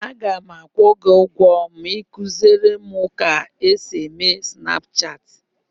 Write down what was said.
Aga m akwụ gị ụgwọ ma ị kuziere m otu esi eme Snapchaatị.